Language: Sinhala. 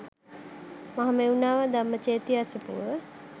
මහමෙව්නාව ධම්මචේතිය අසපුව